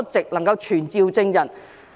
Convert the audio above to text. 它能夠傳召證人。